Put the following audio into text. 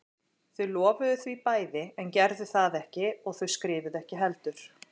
Þau lofuðu því bæði en gerðu það ekki og þau skrifuðu ekki heldur.